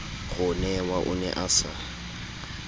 ronewa o ne a sa